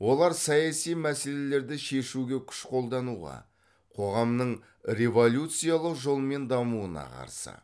олар саяси мәселелерді шешуге күш қолдануға қоғамның революциялық жолмен дамуына қарсы